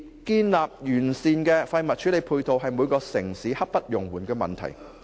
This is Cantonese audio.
建立完善的廢物處理配套，是每個城市刻不容緩的問題。